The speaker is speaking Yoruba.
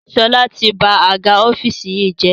Sọlá tí ba àga ọ́fíìsì yìí jẹ́